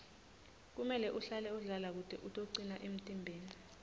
kumele uhlale udlala kute utocina emtimbeni